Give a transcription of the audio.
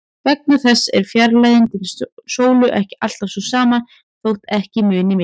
Vegna þessa er fjarlægðin til sólu ekki alltaf sú sama, þótt ekki muni miklu.